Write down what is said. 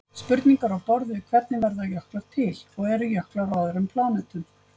Spurningar á borð við hvernig verða jöklar til? og eru jöklar á öðrum plánetum?